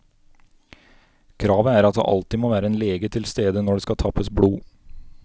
Kravet er at det alltid må være en lege tilstede når det skal tappes blod.